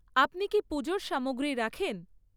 আপনি কি পুজোর সামগ্রী রাখেন?